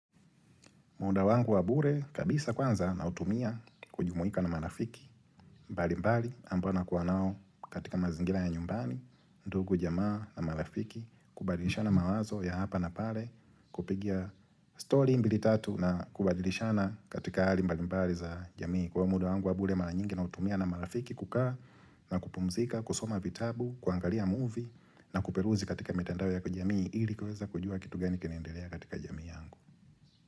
Muda wangu wa bure kabisa kwanza nautumia kujumuika na marafiki mbali mbali ambao nakuwa nao katika mazingira ya nyumbani, ndugu jamaa na marafiki kubadilishana mawazo ya hapa na pale kupigia story mbili tatu na kubadilishana katika hali mbali mbali za jamii. Muda wangu wa bure mara nyingi nautumia na marafiki kukaa na kupumzika, kusoma vitabu, kuangalia movie na kuperuzi katika mtandao ya kujamii ili kuweza kujua kitu gani kinaendelea katika jamii yangu.